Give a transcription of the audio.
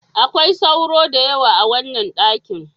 Akwai sauro da yawa a wannan dakin.